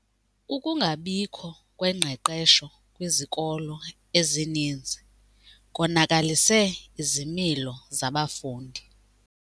Ukungabikho kwengqeqesho kwizikolo ezininzi konakalise izimilo zabafundi.